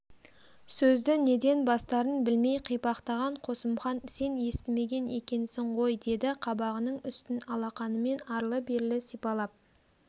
сөзді неден бастарын білмей қипақтаған қосымхан сен естімеген екенсің ғой деді қабағының үстін алақанымен арлы-берлі сипалап